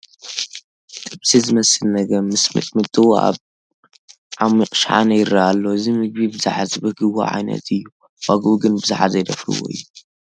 ጥብሲ ዝመስል ነገም ምስ ሚጥሚጥኡ ኣብ ዓሚቕ ሸሓነ ይርአ ኣሎ፡፡ እዚ ምግቢ ብዙሓት ዝብህግዎ ዓይነት እዩ፡፡ ዋግኡ ግን ብዙሓት ዘይደፍርዎ እዩ፡፡